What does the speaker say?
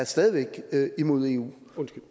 stadig væk er imod eu